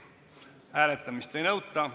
Hääletamist ei nõuta.